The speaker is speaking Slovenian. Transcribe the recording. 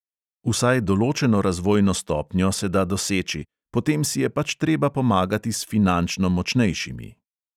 Vsaj določeno razvojno stopnjo se da doseči, potem si je pač treba pomagati s finančno močnejšimi.